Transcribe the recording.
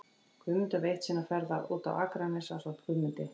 Guðmundur var eitt sinn á ferð út á Akranes ásamt Guðmundi